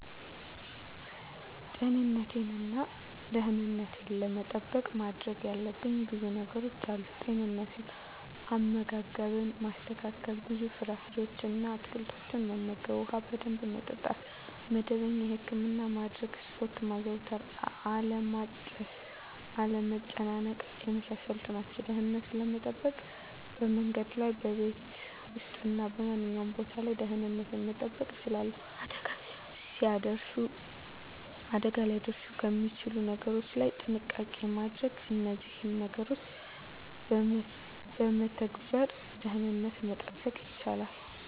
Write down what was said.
ጤንነቴን እና ደህንነቴን ለመጠበቅ ማድረግ ያለብኝ ብዙ ነገሮች አሉ፦ * ጤንነት፦ * አመጋገብን ማስተካከል፣ ብዙ ፍራፍሬዎችን እና አትክልቶችን መመገብ፣ ውሃ በደንብ መጠጣት፣ መደበኛ የህክምና ማድረግ፣ ስፖርት ማዘውተር አለማጨስ፣ አለመጨናነቅ የመሳሰሉት ናቸው። * ደህንነትን ለመጠበቅ፦ በመንገድ ላይ፣ በቤት ውስጥ እና በማንኛውም ቦታ ላይ ደህንነቴን መጠበቅ እችላለሁ። አደጋ ሊያደርሱ ከሚችሉ ነገሮች ላይ ጥንቃቄ ማድረግ እነዚህን ነገሮች በመተግበር ደህንነትን መጠበቅ ይቻላሉ።